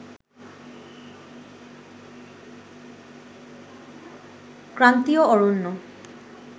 ক্রান্তিয় অরণ্য